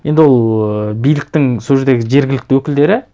енді ол ыыы биліктің сол жердегі жергілікті өкілдері